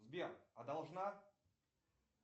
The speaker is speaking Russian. сбер а должна